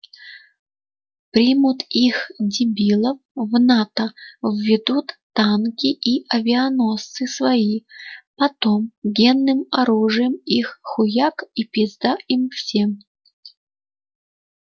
примут их дебилов в нато введут танки и авианосцы свои потом генным оружием их хуяк и пизда им всем